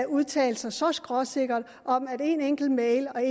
udtale sig så skråsikkert om at en enkelt e mail